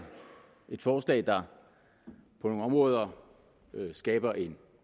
et forslag der på nogle områder skaber en